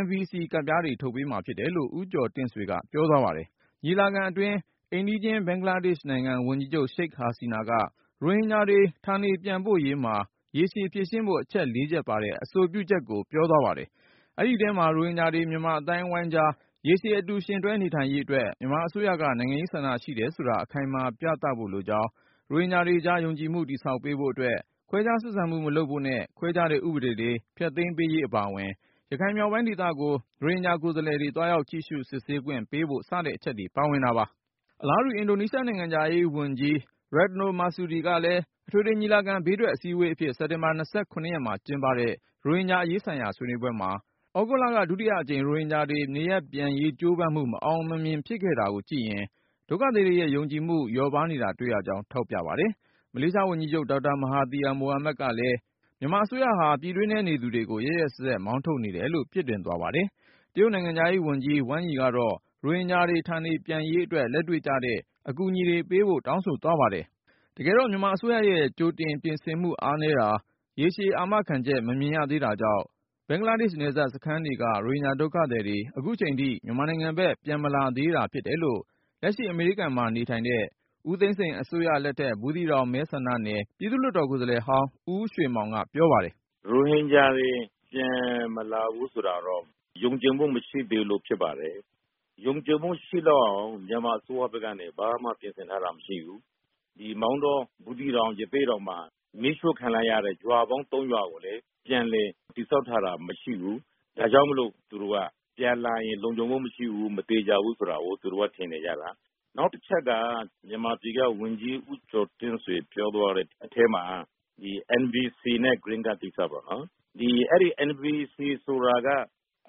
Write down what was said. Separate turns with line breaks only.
NVC ကတ်ပြားတွေ ထုတ်ပေးမှာဖြစ်တယ်လို့ ဦးကျော်တင့်ဆွေက ပြောသွားပါတယ်။ ညီလာခံအတွင်း အိမ်နီးချင်း ဘင်္ဂလားဒေ့ရှ်နိုင်ငံ ဝန်ကြီးချုပ် Sheikh Hasina က ရိုဟင်ဂျာတွေ ဌာနေပြန်ပို့ရေးမှာ ရေရှည်ဖြေရှင်းဖို့ အချက် ၄ ချက်ပါတဲ့ အဆိုပြုချက်ကို ပြောသွားပါတယ်။ အဲဒီထဲမှာ ရိုဟင်ဂျာတွေ မြန်မာအသိုင်းအဝိုင်းကြား ရေရှည် အတူယှဉ်တွဲနေနိုင်ရေးအတွက် မြန်မာအစိုးရက နိုင်ငံရေးဆန္ဒရှိတယ်ဆိုတာ အခိုင်အမာ ပြသဖို့လိုကြောင်း၊ ရိုဟင်ဂျာတွေကြား ယုံကြည်မှု တည်ဆောက်ပေးဖို့အတွက် ခွဲခြားဆက်ဆံမှု မလုပ်ဖို့နဲ့ ခွဲခြားတဲ့ ဥပဒေတွေ ဖျက်သိမ်းပေးရေး အပါအဝင် ရခိုင်မြောက်ပိုင်းဒေသကို ရိုဟင်ဂျာ ကိုယ်စားလှယ်တွေ သွားရောက်ကြည့်ရှု စစ်ဆေးခွင့်ပေးဖို့ စတဲ့အချက်တွေ ပါဝင်တာပါ။ အလားတူ အင်ဒိုနီးရှား နိုင်ငံခြားရေးဝန်ကြီး Retno Marsudi ကလည်း အထွေထွေညီလာခံ ဘေးထွက်အစည်းဝေးအဖြစ် စက်တင်ဘာ ၂၇ မှာကျင်းပတဲ့ ရိုဟင်ဂျာအရေးဆိုင်ရာ ဆွေးနွေးပွဲမှာ သြဂုတ်လက ဒုတိယအကြိမ် ရိုဟင်ဂျာတွေ နေရပ်ပြန်ရေး ကြိုးပမ်းမှု မအောင်မမြင် ဖြစ်ခဲ့ရတာကိုကြည့်ရင် ဒုက္ခသည်တွေရဲ့ ယုံကြည်မှု လျော့ပါးနေတာ တွေ့ရကြောင်း ထောက်ပြပါတယ်။ မလေးရှားဝန်ကြီးချုပ် ဒေါက်တာ မဟာသီယာမိုဟာမက်ကလည်း မြန်မာအစိုးရဟာ ပြည်တွင်းထဲ နေသူတွေကို ရက်ရက်စက်စက် မောင်းထုတ်နေတယ်လို့ ပြစ်တင်သွားပါတယ်။ တရုတ်နိုင်ငံခြားရေးဝန်ကြီး ဝမ်းယီကတော့ ရိုဟင်ဂျာတွေ ဌာနေပြန်ရေးအတွက် လက်တွေ့ကျတဲ့ အကူအညီတွေ ပေးဖို့ တောင်းဆိုသွားပါတယ်။ တကယ်တော့ မြန်မာအစိုးရရဲ့ ကြိုတင်ပြင်ဆင်မှု အားနည်းတာ၊ ရေရှည်အာမခံချက်တွေ မမြင်ရသေးတာကြောင့် ဘင်္ဂလားဒေ့ရှ် နယ်စပ်စခန်းတွေက ရိုဟင်ဂျာဒုက္ခသည်တွေ အခုအချိန်ထိ မြန်မာနိုင်ငံဘက် ပြန်မလာကြသေးတာ ဖြစ်တယ်လို့ လက်ရှိ အမေရိကန်မှာနေထိုင်တဲ့ ဦးသိန်းစိန်အစိုးရလက်ထက် ဘူးသီးတောင်မဲဆန္ဒနယ် ပြည်သူ့လွှတ်တော် ကိုယ်စားလှယ်ဟောင်း ဦးရွှေမောင်က ပြောပါတယ်
။ “ရိုဟင်ဂျာတွေ ပြန်မလာဘူးဆိုတာတော့ ယုံကြည်မှု မရှိသေးလို့ ဖြစ်ပါတယ်။ ယုံကြည်မှု ရှိလောက်အောင် မြန်မာအစိုးရဘက်ကနေ ဘာမှပြင်ဆင်ထားတာ မရှိဘူး။ မောင်တော၊ ဘူးသီးတောင်၊ ရသေ့တောင်မှာ မီးရှို့ခံလိုက်ရတဲ့ ရွာပေါင်း ၃ ရွာကိုလည်း ပြန်လည် တည်ဆောက်ထားတာ မရှိဘူး။ ဒါကြောင့်မို့ သူတို့က ပြန်လာရင် လုံခြုံမှုမရှိဘူး၊ မသေချာဘူးဆိုတာကို ထင်နေကြတာ။ “နောက်တချက်က မြန်မာပြည်က ဝန်ကြီး ဦးကျော်တင့်ဆွေ ပြောသွားတဲ့အထဲမှာ NVC နဲ့ Green Card ကိစ္စပေါ့၊ အဲဒီ NVC ဆိုတာက